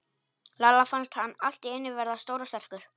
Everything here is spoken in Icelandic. Lalla fannst hann allt í einu verða stór og sterkur.